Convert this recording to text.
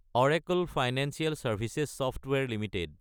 Oracle Financial Services Software Ltd